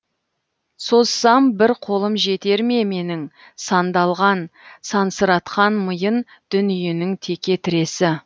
созсам бір қолым жетер ме менің сандалған сансыратқан миын дүниенің теке тіресі